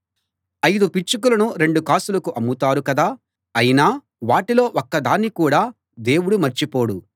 ఐదు పిచ్చుకలను రెండు కాసులకు అమ్ముతారు కదా అయినా వాటిలో ఒక్కదాన్ని కూడా దేవుడు మర్చిపోడు